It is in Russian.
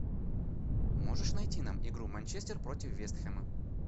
можешь найти нам игру манчестер против вест хэма